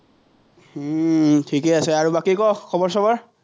উম ঠিকেই আছে, বাকী ক, খবৰ-চবৰ?